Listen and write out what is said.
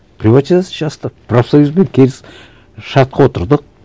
приватизация жасаттық профсоюзбен шартқа отырдық